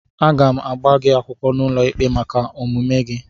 Aga m agba gị akwụkwọ n'ụlọikpe maka omume a